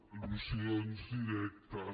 al·lusions directes